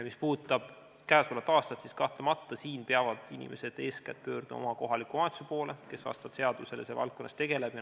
Mis puudutab käesolevat aastat, siis kahtlemata peavad inimesed eeskätt pöörduma oma kohaliku omavalitsuse poole, kes seaduse järgi selle valdkonnaga tegeleb.